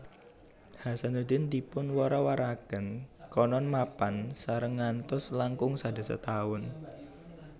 Hasanuddin dipun wara warakaken konon mapan sareng ngantos langkung sadasa taun